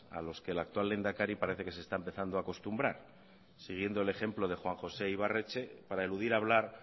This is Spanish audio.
a los que el actual lehendakari parece que se está empezando a acostumbrar siguiendo el ejemplo de juan josé ibarretxe para eludir hablar